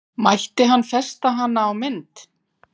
Mætti hann festa hana á mynd?